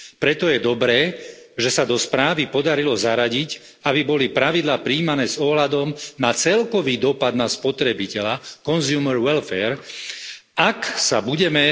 Preto je dobré, že sa do správy podarilo zaradiť, aby boli pravidlá prijímané s ohľadom na celkový dopad na spotrebiteľa Ak sa budeme